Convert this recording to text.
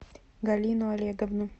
галину олеговну